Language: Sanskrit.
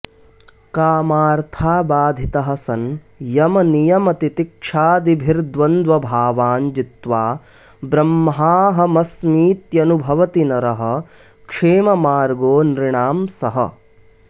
कामार्थाबाधितः सन् यमनियमतितिक्षादिभिर्द्वन्द्वभावान् जित्वा ब्रह्माहमस्मीत्यनुभवति नरः क्षेममार्गो नृणां सः